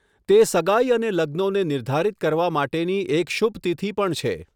તે સગાઇ અને લગ્નોને નિર્ધારિત કરવા માટેની એક શુભ તિથિ પણ છે.